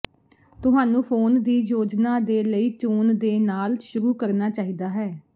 ਤੁਹਾਨੂੰ ਫੋਨ ਦੀ ਯੋਜਨਾ ਦੇ ਲਈ ਚੋਣ ਦੇ ਨਾਲ ਸ਼ੁਰੂ ਕਰਨਾ ਚਾਹੀਦਾ ਹੈ